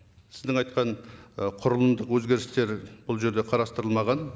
сіздің айтқан ы құрылымдық өзгерістер бұл жерде қарастырылмаған